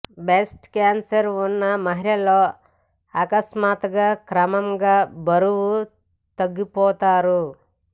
breast cancer ఉన్న మహిళల్లో అకస్మాత్ గా క్రమంగా బరువు తగ్గిపోతారు